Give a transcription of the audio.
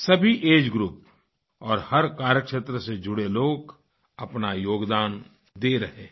सभी age group और हर कार्य क्षेत्र से जुड़े लोग अपना योगदान दे रहे हैं